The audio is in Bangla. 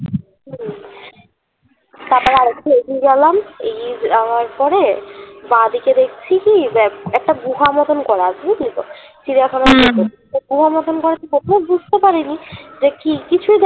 তারপর আরেক জায়গায় গেলাম আওয়ার পরে বা দিকে দেখছি কি দেখ একটা গুহার মতন করা বুঝলি তো চিড়িয়াখানা